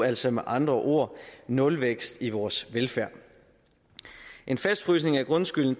altså med andre ord nulvækst i vores velfærd en fastfrysning af grundskylden